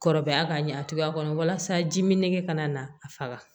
Kɔrɔbaya ka ɲɛ a cogoya kɔnɔ walasa ji min nege kana na a faga